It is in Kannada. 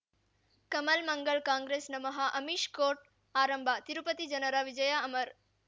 ಕಮಲ್ ಮಂಗಳ್ ಕಾಂಗ್ರೆಸ್ ನಮಃ ಅಮಿಷ್ ಕೋರ್ಟ್ ಆರಂಭ ತಿರುಪತಿ ಜನರ ವಿಜಯ ಅಮರ್